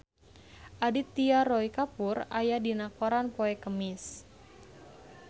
Aditya Roy Kapoor aya dina koran poe Kemis